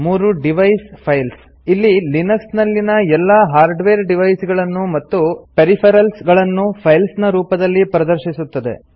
3 device files ಇಲ್ಲಿ Linux ನಲ್ಲಿನ ಎಲ್ಲಾ ಹಾರ್ಡ್ವೇರ್ ಡಿವೈಸ್ ಗಳನ್ನು ಮತ್ತು ಪೆರಿಫೆರಲ್ಸ್ ಗಳನ್ನು ಫೈಲ್ಸ್ ನ ರೂಪದಲ್ಲಿ ಪ್ರದರ್ಶಿಸುತ್ತದೆ